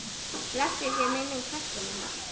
Blessuð sé minning frænku minnar.